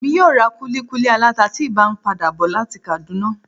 Emi yóò ra kuli kuli alata tí n ba pada bọ lati Kaduna